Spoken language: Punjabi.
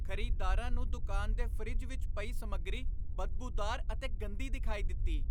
ਖ਼ਰੀਦਦਾਰਾਂ ਨੂੰ ਦੁਕਾਨ ਦੇ ਫਰਿੱਜ ਵਿੱਚ ਪਈ ਸਮੱਗਰੀ ਬਦਬੂਦਾਰ ਅਤੇ ਗੰਦੀ ਦਿਖਾਈ ਦਿੱਤੀ।